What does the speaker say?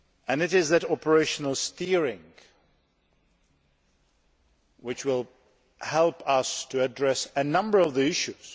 It is that operational steering which will help us to address a number of issues.